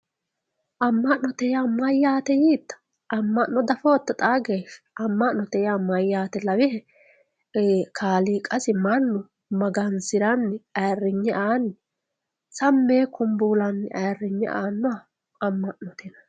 amma'note yaa mayyaate yiitta? amma'no diafootto xaa geeshsha? amma'note yaa mayyaate lawihe kaaliiqasi mannu magansiranni ayiirrinye aanni sammi yee kunbuulanni ayiirinye aannoha amma'note yinanni.